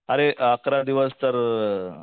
अरे अकरा दिवस तर